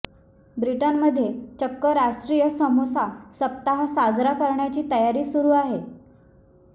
ब्रिटनमध्ये चक्क राष्ट्रीय समोसा सप्ताह साजरा करण्याची तयारी सुरु आहे